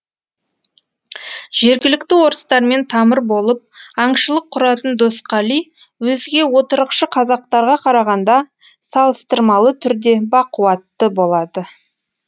жергілікті орыстармен тамыр болып аңшылық құратын досқали өзге отырықшы қазақтарға қарағанда салыстырмалы түрде бақуатты болады